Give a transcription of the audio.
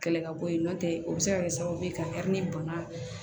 Kɛlɛ ka bɔ yen nɔntɛ o bɛ se ka kɛ sababu ye ka bana